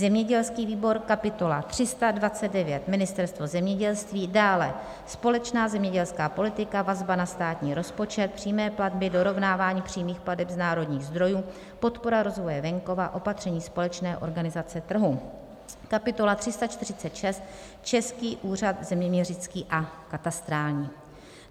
zemědělský výbor: kapitola 329 - Ministerstvo zemědělství, dále společná zemědělská politika, vazba na státní rozpočet, přímé platby, dorovnávání přímých plateb z národních zdrojů, podpora rozvoje venkova, opatření společné organizace trhu, kapitola 346 - Český úřad zeměměřický a katastrální;